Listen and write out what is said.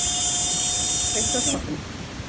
Erna, kveiktu á sjónvarpinu.